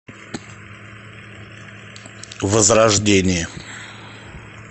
возрождение